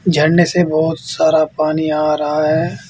झरनें से बहुत सारा पानी आ रहा है।